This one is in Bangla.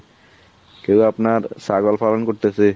কেউ আপনার ছাগল পালন করতেসে